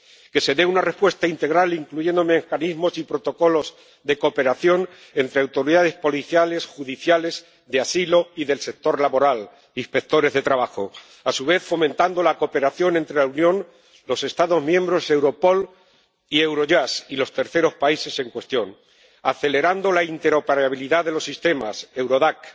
que se dé una respuesta integral incluyendo mecanismos y protocolos de cooperación entre autoridades policiales, judiciales, de asilo y del sector laboral —inspectores de trabajo—, a su vez fomentando la cooperación entre la Unión, los Estados miembros, Europol y Eurojust y los terceros países en cuestión, acelerando la interoperabilidad de los sistemas Eurodac.